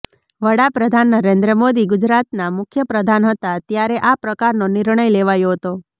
વડાપ્રધાન નરેન્દ્ર મોદી ગુજરાતના મુખ્યપ્રધાન હતા ત્યારે આ પ્રકારનો નિર્ણય લેવાયો હતો